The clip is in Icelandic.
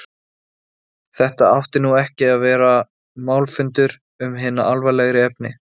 Þetta átti nú ekki að vera málfundur um hin alvarlegri efni.